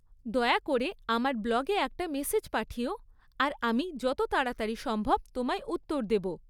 দয়া করে আমার ব্লগে একটা মেসেজ পাঠিও আর আমি যত তাড়াতাড়ি সম্ভব তোমায় উত্তর দেব।